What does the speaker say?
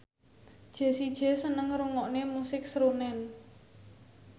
Jessie J seneng ngrungokne musik srunen